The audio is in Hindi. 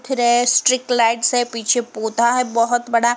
फ्रेश स्टिक लाइट्स हैं। पीछे पौधा हैं बहोत बड़ा।